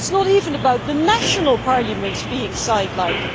It is not even about the national parliaments being sidelined.